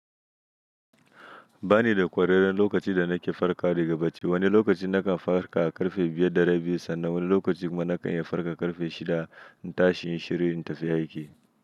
Ba ni da ƙwararan lokacin da nake farka daga bacci. Wani lokaci nakan farka ƙarfe biyar da rabi, sannan wani lokaci kuma nakan yi farka ƙarfe shida. Na tashi yin shirin tafiya aiki.